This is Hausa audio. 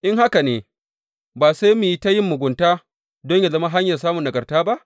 In haka ne, Ba sai mu yi ta yin mugunta don yă zama hanyar samun nagarta ba?